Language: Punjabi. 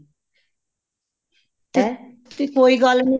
ਤੇ ਕੋਈ ਗੱਲ ਨੀ